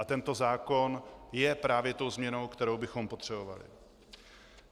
A tento zákon je právě tou změnou, kterou bychom potřebovali.